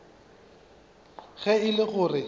ge e le go re